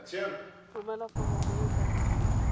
romela foromo e e tladitsweng